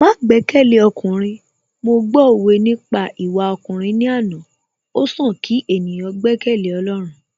Má gbẹ́kẹ̀lé ọkùnrin, mo gbọ́ òwe nípa ìwà ọkùnrin ní àná, ó sàn kí ènìyàn gbẹ́kẹ̀lé Ọlọ́run